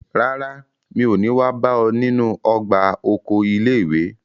Rárá, mi ò ní wá bá ọ nínú ọgbà oko ilé ìwé.